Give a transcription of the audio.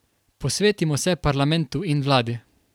Posvetimo se parlamentu in vladi.